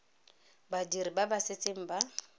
badiri ba ba setseng ba